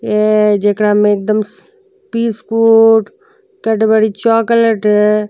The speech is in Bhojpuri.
ए जेकरा में एकदम स् बिस्कुट कैडबरी चॉकलेट --